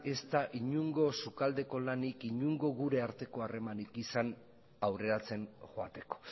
ez da inongo sukaldeko lanik inongo gure arteko harremanik izan aurreratzen joateko